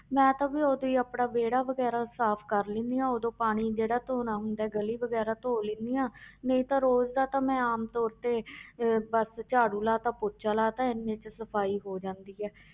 ਮੈਂ ਤਾਂ ਵੀ ਉਦੋਂ ਹੀ ਆਪਣਾ ਵਿਹੜਾ ਵਗ਼ੈਰਾ ਸਾਫ਼ ਕਰ ਲੈਂਦੀ ਹਾਂ ਉਦੋਂ ਪਾਣੀ ਜਿਹੜਾ ਧੌਣਾ ਹੁੰਦਾ ਗਲੀ ਵਗ਼ੈਰਾ ਧੌ ਲੈਂਦੀ ਹਾਂ ਨਹੀਂ ਤਾਂ ਰੋਜ਼ ਦਾ ਤਾਂ ਮੈਂ ਆਮ ਤੌਰ ਤੇ ਅਹ ਬਸ ਝਾੜੂ ਲਾ ਦਿੱਤਾ ਪੋਚਾ ਲਾ ਦਿੱਤਾ ਇੰਨੇ 'ਚ ਸਫ਼ਾਈ ਹੋ ਜਾਂਦੀ ਹੈ